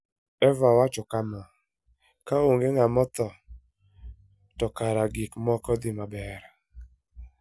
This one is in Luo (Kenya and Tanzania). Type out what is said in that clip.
Eva wacho kama: "Ka onge ng'ama otho, to kare gik moko dhi maber.